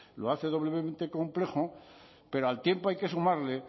lo hace doblemente complejo pero al tiempo hay que sumarle